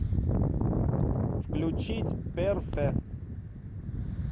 включить перфе